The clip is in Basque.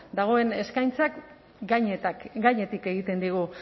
dagoen eskaintzak gainetik egiten digu